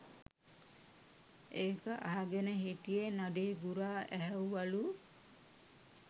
ඒක අහගෙන හිටිය නඩේ ගුරා ඇහැව්වලු